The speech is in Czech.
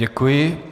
Děkuji.